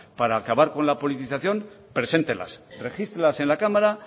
para acabar con la politización preséntelas regístrelas en la cámara